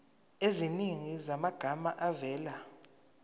eziningi zamagama avela